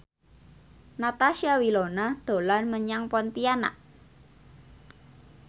Natasha Wilona dolan menyang Pontianak